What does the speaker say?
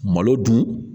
Malo dun